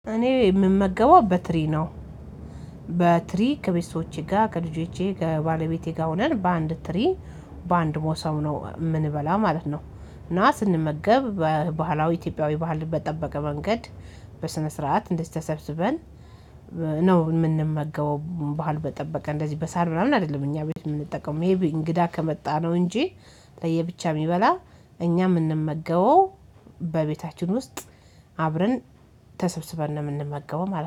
እኔ የምመገበው በትሪ ነው። በትሪ ከቤተሰቦቼ፥ ጋር ከልጆቼ ፥ከባለቤቴ ጋር ሆነን በአንድ ትሪ በአንድ መሶብ ነው ምንበላ ማለት ነው። እና ስንመገብ በባህላዊ ኢትዮጵያዊ ባህል በጠበቀ መንገድ በስነ ስርዓት እንደዚህ ተሰብስበን ነው የምንመገበው ባህል በጠበቀ እንደዚህ በሳህን ምናምን አይደለም እኛ ቤት የምንጠቀመው ሜይቢ እንግዳ ከመጣነው እንጂ ለየብቻ የሚበላ እኛ የምንመገበው በቤታችን ውስጥ አብረን ተሰብስበን ነው የምንመገበው ማለት ነው።